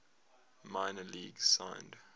minor leagues signed